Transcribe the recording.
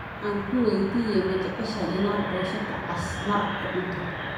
Ankuweydiyex, majeceshay inad poshada caas marag kucunto?